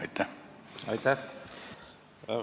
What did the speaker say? Aitäh!